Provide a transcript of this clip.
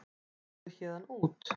Farðu héðan út.